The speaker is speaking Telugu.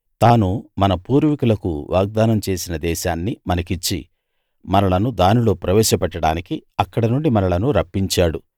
తాను మన పూర్వీకులకు వాగ్దానం చేసిన దేశాన్ని మనకిచ్చి మనలను దానిలో ప్రవేశపెట్టడానికి అక్కడ నుండి మనలను రప్పించాడు